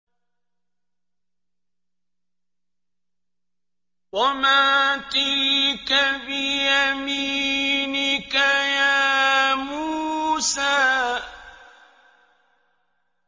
وَمَا تِلْكَ بِيَمِينِكَ يَا مُوسَىٰ